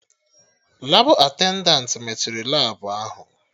Labụ attendantị mechiri Labụ ahụ